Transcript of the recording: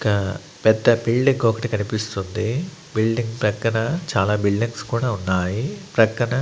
ఇక పెద్ద బిల్డింగ్ ఒకటి కనిపిస్తుంది బిల్డింగ్ ప్రక్కన చాలా బిల్డింగ్స్ కూడా ఉన్నాయి ప్రక్కన--